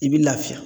I b'i lafiya